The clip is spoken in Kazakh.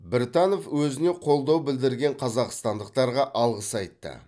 біртанов өзіне қолдау білдірген қазақстандықтарға алғыс айтты